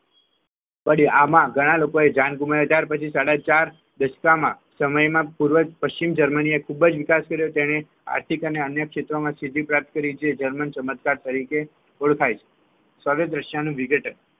પડ્યા આમાં ઘણા લોકોએ જાન ગુમાવી ત્યારે પછી સાડાચાર દસકામાં સમયમાં પૂર્વ અને પશ્ચિમ જર્મની ખૂબ જ વિકાસ કરી તેને આર્થિક અને અન્ય ક્ષેત્રે સિદ્ધિ પ્રાપ્ત કરી છે જે જર્મન ચમત્કાર તરીકે ઓળખાય છે દ્રશ્ય નું વિઘટન